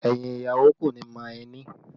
Ẹyin ìyàwó kò ní mọ ẹni